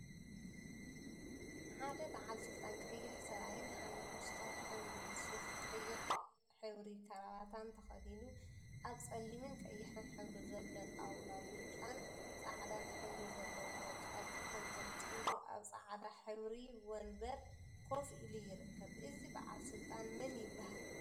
ሓደ በዓል ስልጣን ቀይሕ ሰብአይሓመኩሽታይ ሕብሪ ሱፍን ቀይሕ ሕብሪ ከረባታን ተከዲኑ አብ ፀሊምነ ቀይሕን ሕብሪ ዘለዎ ጣውላ ብጫን ፃዐዳን ሕብሪ ዘለዎ ጨርቂ ተንጠልጢሉ አብ ፃዕዳ ሕብሪ ወንበር ኮፍ ኢሉ ይርከብ፡፡ እዚ በዓል ስልጣን መን ይበሃል?